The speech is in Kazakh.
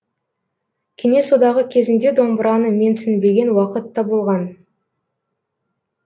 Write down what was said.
кеңес одағы кезінде домбыраны менсінбеген уақыт та болған